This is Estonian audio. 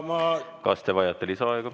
Kas te vajate lisaaega?